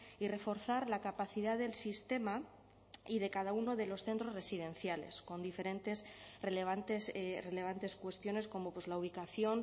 y reforzar la capacidad del sistema y de cada uno de los centros residenciales con diferentes relevantes relevantes cuestiones como pues la ubicación